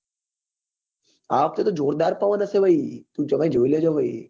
આ વખતે તો જોરદાર પવન હશે તમે જોઈ લેજો ભાઈ હા હા